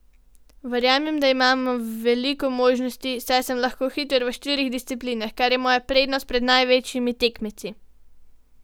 Verjamem, da imam veliko možnosti, saj sem lahko hiter v štirih disciplinah, kar je moja prednost pred največjimi tekmeci.